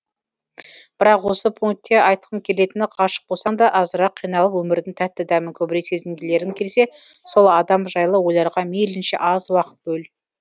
бірақ осы пункте айтқым келетіні ғашық болсаң да азырақ қиналып өмірдің тәтті дәмін көбірек сезінгілерің келсе сол адам жайлы ойларға мейлінше аз уақыт бөл